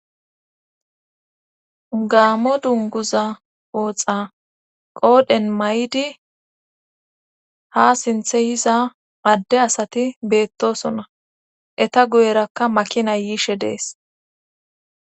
Gaamo dunguza ooxa qoodhen may7di ha sinthe yiza adde asati beettosona eta guyerakka makina yiishe dees.